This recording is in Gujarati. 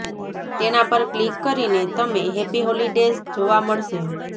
તેના પર ક્લિક કરીને તમે હેપી હોલીડેઝ જોવા મળશે